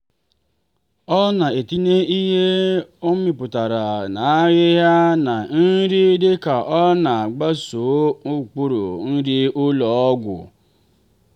ọ na-etinye ihe ọ mịpụtara n'ahịhịa na nri dịka ọ na-agbaso ụkpụrụ nri ụlọ ọgwụ.